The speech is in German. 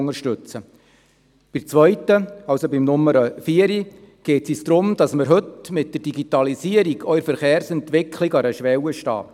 Bei der Planungserklärung 4 geht es darum, dass wir heute in Zusammenhang mit der Digitalisierung auch bei der Verkehrsentwicklung an einer Schwelle stehen.